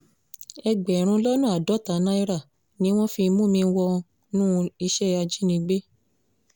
ẹgbẹ̀rún lọ́nà àádọ́ta náírà ni wọ́n fi mú mi wọnú iṣẹ́ ajínigbé